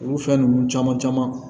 Olu fɛn ninnu caman caman